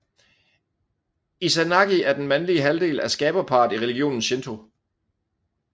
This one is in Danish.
Izanagi er den mandlige halvdel af skaberparret i religionen Shinto